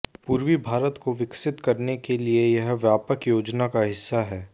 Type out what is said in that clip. पूर्वी भारत को विकसित करने के लिए यह व्यापक योजना का हिस्सा है